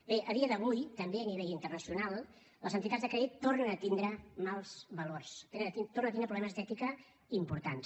bé a dia d’avui també a nivell internacional les entitats de crèdit tornen a tindre mals valors tornen a tindre problemes d’ètica importants